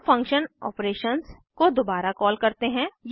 हम function operations को दोबारा कॉल करते हैं